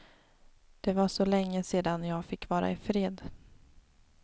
Det var så länge sedan jag fick vara ifred.